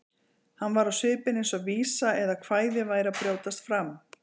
Hann var á svipinn eins og vísa eða kvæði væri að brjótast fram.